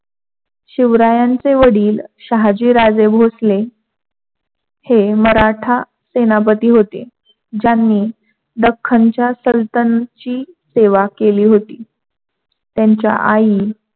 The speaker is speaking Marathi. शिवरायांचे वडील शहाजी राजे भोसले हे मराठा सेनापती होते, ज्यांनी दख्खनच्या सलतन सेवा केली होती. त्यांच्या आई